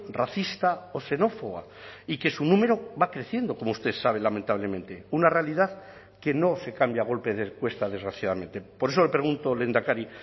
racista o xenófoba y que su número va creciendo como usted sabe lamentablemente una realidad que no se cambia a golpe de encuesta desgraciadamente por eso le pregunto lehendakari